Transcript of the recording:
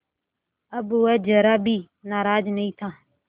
अब वह ज़रा भी नाराज़ नहीं था